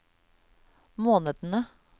månedene